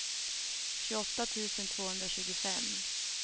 tjugoåtta tusen tvåhundratjugofem